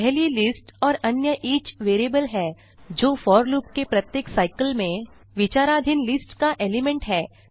पहली लिस्ट और अन्य ईच वेरिएबल है जो फोर लूप के प्रत्येक साइकल में विचाराधीन लिस्ट का एलिमेंट है